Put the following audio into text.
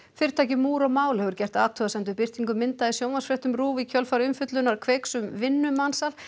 fyrirtækið múr og mál hefur gert athugasemd við birtingu mynda í sjónvarpsfréttum RÚV í kjölfar umfjöllunar Kveiks um vinnumansal